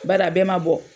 Bari a bɛɛ ma bɔ